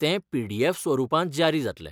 तें पीडीएफ स्वरूपांत जारी जातलें.